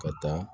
Ka taa